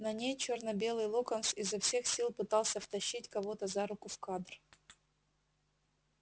на ней чёрно-белый локонс изо всех сил пытался втащить кого-то за руку в кадр